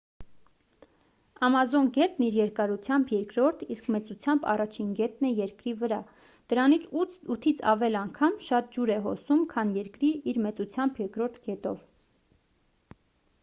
ամազոն գետն իր երկարությամբ երկրորդ իսկ մեծությամբ առաջին գետն է երկրի վրա դրանով 8-ից ավել անգամ շատ ջուր է հոսում քան երկրի իր մեծությամբ երկրորդ գետով